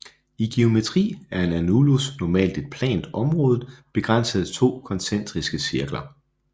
I geometri er en annulus normalt et plant område begrænset af to koncentriske cirkler